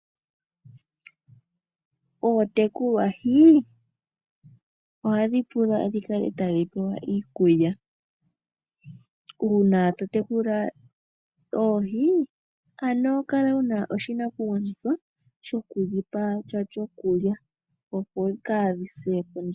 Ootekulwahi ohadhi pula dhi kale tadhi pewa iikulya. Uuna to tekula oohi, ano kala wuna oshinakugwanithwa sho ku dhipa sha shokulya, opo kaadhi se kondjala.